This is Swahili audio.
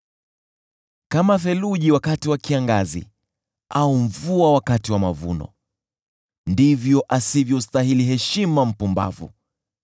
Kama theluji wakati wa kiangazi au mvua wakati wa mavuno, ndivyo asivyostahili heshima mpumbavu.